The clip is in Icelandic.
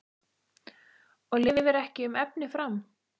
Og lifir ekki um efni fram?